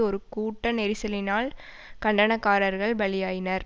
ஒரு கூட்ட நெரிசலினால் கண்டனக்காரர்கள் பலியாயினர்